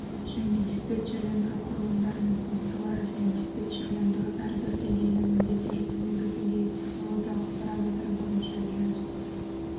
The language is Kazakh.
және диспетчерлендіру құрылымдары мен функциялары және диспетчерлендіру әрбір деңгейінің міндеттері төменгі деңгейі технологиялық параметр бойынша жүз